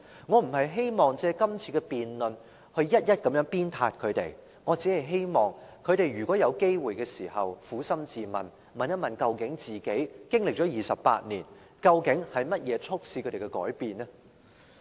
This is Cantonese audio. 我不是希望藉今次的辯論一一鞭撻他們，我只是希望他們如果有機會時，能夠撫心自問，經歷了28年，究竟是甚麼促使他們改變呢？